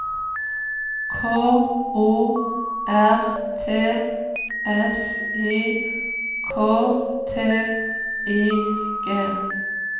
K O R T S I K T I G